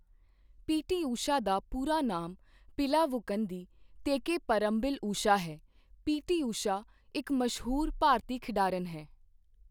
ਪੀ T Usha ਦਾ ਪੂਰਾ ਨਾਮ ਪਿਲਾਵੁਕੰਦੀ ਤੇਕੇਪਰਰੰਬਿਲ ਊਸ਼ਾ ਹੈ ਪੀ ਟੀ ਊਸ਼ਾ ਇੱਕ ਮਸ਼ਹੂਰ ਭਾਰਤੀ ਖਿਡਾਰਨ ਹੈ